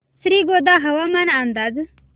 श्रीगोंदा हवामान अंदाज